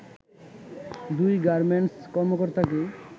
দুই গার্মেন্টস কর্মকর্তাকে